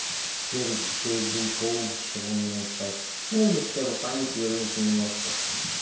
теперь пей гинкоум чтобы умнее стать ну или хотя бы память вернуть немножко